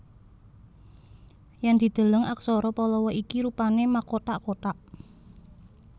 Yèn dideleng aksara Pallawa iki rupané makothak kothak